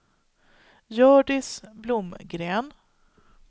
Hjördis Blomgren